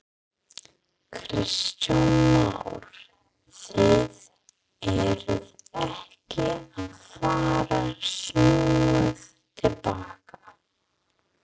Kristján Már: Þið eruð ekki að fara snúa til baka?